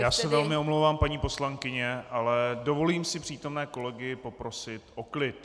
Já se velmi omlouvám, paní poslankyně, ale dovolím si přítomné kolegy poprosit o klid.